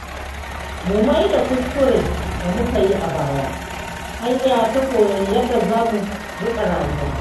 Mu maida kuskuren da muka yi a baya hanya ta koyon yadda zamu riƙa rayuwa.